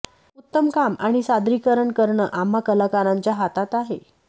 उत्तम काम आणि सादरीकरण करणं आम्हा कलाकारांच्या हातात आहे